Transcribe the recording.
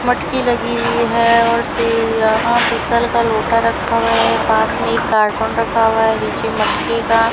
मटकी लगी हुईं हैं और से यहां पीतल का लोटा रखा हुआ है पास में एक कार्टून रखा हुआ है नीचे मटकी का --